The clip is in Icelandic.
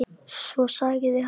Svo sagði hann